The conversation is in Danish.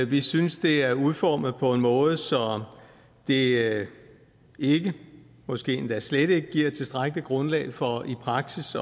vi synes det er udformet på en måde så det ikke måske endda slet ikke giver tilstrækkeligt grundlag for i praksis